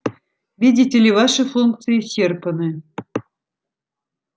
видите ли ваши функции исчерпаны